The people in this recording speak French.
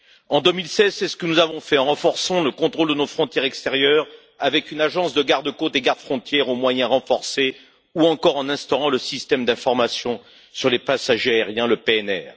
En 2016, c'est ce que nous avons fait en renforçant le contrôle de nos frontières extérieures avec une agence de garde côtes et garde frontières aux moyens renforcés, ou encore en instaurant le système d'information sur les passagers aériens, le PNR.